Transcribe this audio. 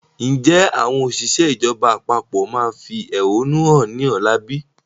Ǹjẹ́ àwọn òṣìṣẹ́ ìjọba àpapọ̀ máa fi ẹhónú hàn ni ọ̀la bí?